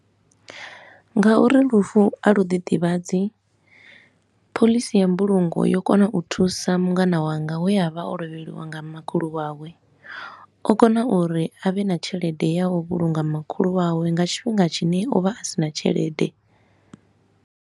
Nga uri lufu a luḓi ḓivhadzi, phoḽisi ya mbulungo yo kona u thusa mungana wanga we a vha o lovheliwa nga makhulu wawe. O kona uri a vhe na tshelede ya u vhulunga makhulu wawe nga tshifhinga tshine o vha a sina tshelede.